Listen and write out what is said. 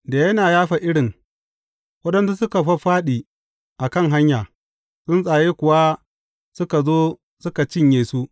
Da yana yafa irin, waɗansu suka fāffāɗi a kan hanya, tsuntsaye kuwa suka zo suka cinye su.